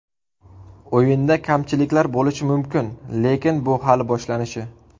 O‘yinda kamchiliklar bo‘lishi mumkin, lekin bu hali boshlanishi.